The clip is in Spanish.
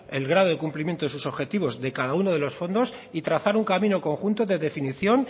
el grado de cumplimiento de sus objetivos de cada uno de los fondos y trazar un camino conjunto de definición